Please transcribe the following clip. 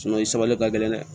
i sumanlen ka gɛlɛn dɛ